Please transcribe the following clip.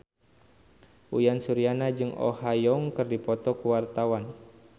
Uyan Suryana jeung Oh Ha Young keur dipoto ku wartawan